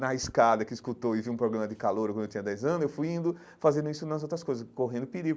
na escada que escutou e viu um programa de calouro quando eu tinha dez anos, eu fui indo fazendo isso nas outras coisas, correndo perigo.